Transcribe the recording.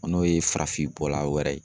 N'o ye farafin fuura bɔla wɛrɛ ye.